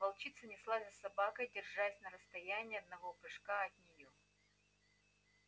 волчица неслась за собакой держась на расстоянии одного прыжка от нее